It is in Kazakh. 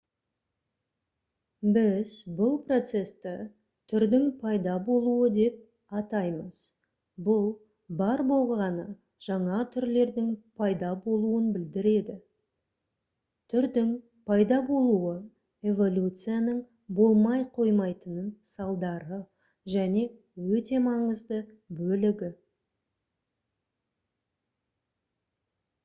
біз бұл процесті түрдің пайда болуы деп атаймыз бұл бар болғаны жаңа түрлердің пайда болуын білдіреді түрдің пайда болуы эволюцияның болмай қоймайтын салдары және өте маңызды бөлігі